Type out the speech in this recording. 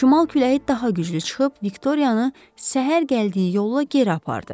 Şimal küləyi daha güclü çıxıb Viktoriyanı səhər gəldiyi yolla geri apardı.